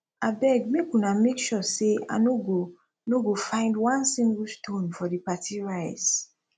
abeg make una make sure say i no go no go find one single stone for the party rice